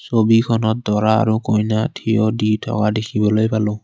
ছবিখনত দৰা আৰু কইনা থিয় দি থকা দেখিবলৈ পালোঁ।